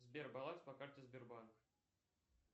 сбер баланс по карте сбербанка